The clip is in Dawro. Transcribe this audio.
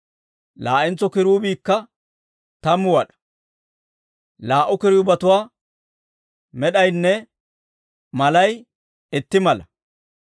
Laa"entso kiruubiikka tammu wad'aa; laa"u kiruubetuwaa med'aynne malay itti mala.